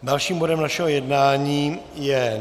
Dalším bodem našeho jednání je